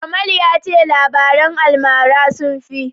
Kamal ya ce labaran almara sun fi.